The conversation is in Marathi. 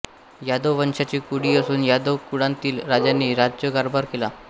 यादव वंशाची कुळी असून यादव कुळांतील राजांनी राजकारभार केला